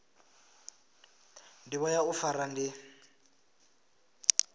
ndivho ya u fara ndi